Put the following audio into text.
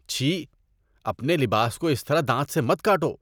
چھی، اپنے لباس کو اس طرح دانت سے مت کاٹو۔